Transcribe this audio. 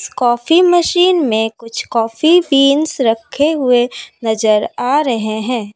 Coffee machine में कुछ coffee beans रखे हुए नजर आ रहे हैं।